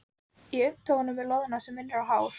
Í augntóftunum er loðna sem minnir á hár.